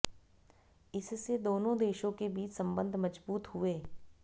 इससे दोनों देशों के बीच संबंध मजबूत हुए